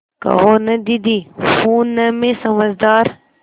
कहो न दीदी हूँ न मैं समझदार